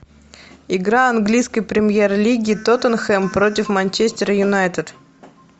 игра английской премьер лиги тоттенхэм против манчестер юнайтед